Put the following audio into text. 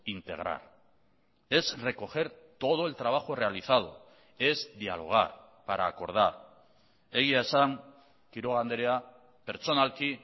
integrar es recoger todo el trabajo realizado es dialogar para acordar egia esan quiroga andrea pertsonalki